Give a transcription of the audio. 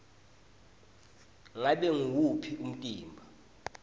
ngabe nguwuphi umtimba